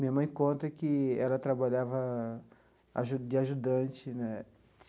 Minha mãe conta que ela trabalhava aju de ajudante né.